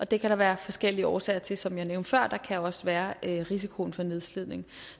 det kan der være forskellige årsager til som jeg nævnte før og der kan også være risikoen for nedslidning